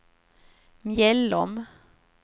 Mjällom